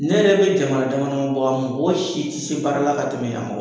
Ne yɛrɛ bɛ jamana damadama bɔ, a mɔgɔ si tɛ se baara la ka tɛmɛ yan mɔgɔ